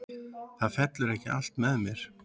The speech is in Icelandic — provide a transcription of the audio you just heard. Það fellur ekki allt með þér.